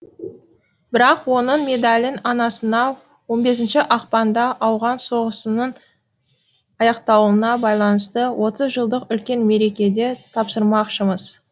бірақ оның медалін анасына он бесінші ақпанда ауған соғысының аяқталуына байланысты отыз жылдық үлкен мерекеде тапсырмақшымыз